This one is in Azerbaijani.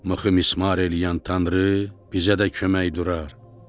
Mıxı mismar eləyən Tanrı bizə də kömək durar.